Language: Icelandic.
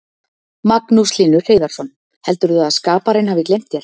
Magnús Hlynur Hreiðarsson: Heldurðu að skaparinn hafi gleymt þér?